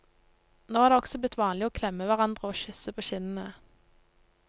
Nå er det også blitt vanlig å klemme hverandre og kysse på kinnene.